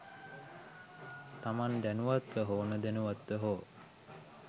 තමන් දැනුවත්ව හෝ නොදැනුවත්ව හෝ